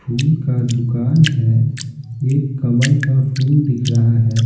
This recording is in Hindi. फूल का दुकान है एक कमल का फूल दिख रहा है।